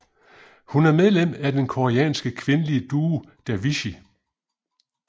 Hun er medlem af den koreanske kvindelige duo Davichi